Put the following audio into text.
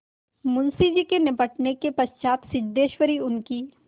मुंशी जी के निबटने के पश्चात सिद्धेश्वरी उनकी